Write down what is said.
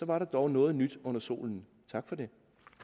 var der dog noget nyt under solen tak for det